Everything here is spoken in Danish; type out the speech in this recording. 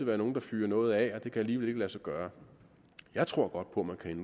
være nogle der fyrer noget af alligevel ikke lade sig gøre jeg tror godt på